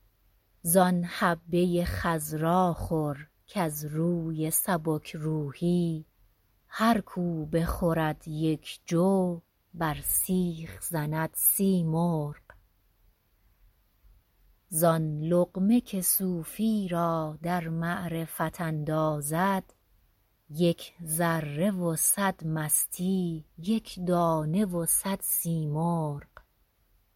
زآن حبه ی خضراخور کز روی سبک روحی هرکـ او بخورد یک جو بر سیخ زند سی مرغ زآن لقمه که صوفی را در معرفت اندازد یک ذره و صد مستی یک دانه و صد سی مرغ